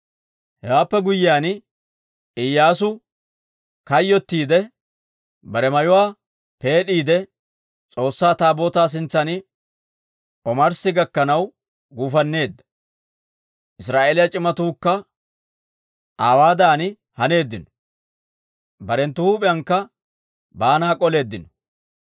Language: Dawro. Hewaappe guyyiyaan Iyyaasu kayyottiide, bare mayuwaa peed'iide S'oossaa Taabootaa sintsan omarssi gakkanaw guufanneedda. Israa'eeliyaa c'imatuukka aawaadan haneeddino; barenttu huup'iyankka baanaa k'oleeddino.